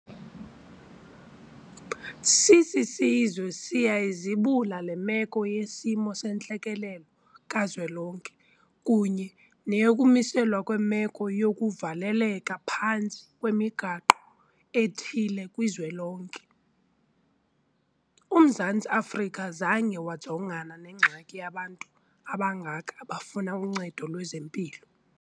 Sisisizwe siyayizibula le meko yesimo sentlekele kazwelonke kunye neyokumiselwa kwemeko yokuvaleleka phantsi kwemiqathango ethile kwizwelonke. UMzantsi Afrika zange wajongana nengxaki yabantu abangaka abafuna uncedo lwezempilo.